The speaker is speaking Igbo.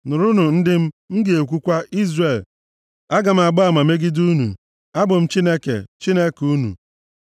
“Nụrụnụ, ndị m, m ga-ekwukwa, Izrel, aga m agba ama megide unu, Abụ m Chineke, Chineke unu.